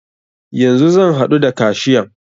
Yanzu zan haɗu da kashiyan.